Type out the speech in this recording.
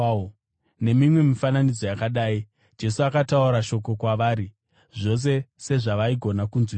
Nemimwe mifananidzo yakadai, Jesu akataura shoko kwavari, zvose sezvavaigona kunzwisisa.